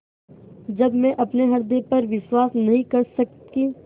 जब मैं अपने हृदय पर विश्वास नहीं कर सकी